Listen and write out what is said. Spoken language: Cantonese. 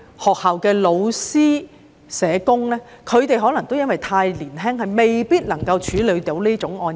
學校的老師和社工可能因為太年輕，未必能夠處理這類案件。